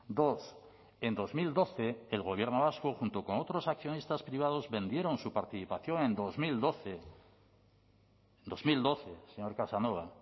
dos en dos mil doce el gobierno vasco junto con otros accionistas privados vendieron su participación en dos mil doce dos mil doce señor casanova